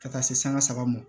Ka taa se sanga saba ma